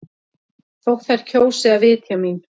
Þótt þær kjósi að vitja mín.